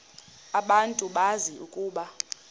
abantu bazi ukuba